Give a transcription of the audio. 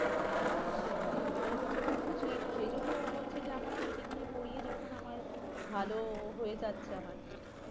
সেটাই ওটাই হয়েছে কথা সেটাই সেই জন্যেই ও বলছে যে আমার coaching নিয়ে পড়িয়ে যখন আমার ভালো হয়ে যাচ্ছে আমার